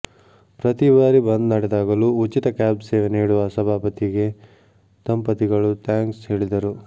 ಪ್ರತಿ ಬಾರಿ ಬಂದ್ ನಡೆದಾಗಲೂ ಉಚಿತ ಕ್ಯಾಬ್ ಸೇವೆ ನೀಡುವ ಸಭಾಪತಿಗೆ ದಂಪತಿಗಳು ಥ್ಯಾಂಕ್ಸ್ ಹೇಳಿದರು